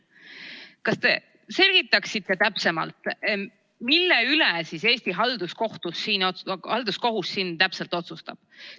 Kas te selgitaksite täpsemalt, mille üle Eesti halduskohus siin täpselt otsustab?